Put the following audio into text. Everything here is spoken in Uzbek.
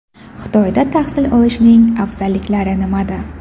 Xitoyda tahsil olishning afzalliklari nimada?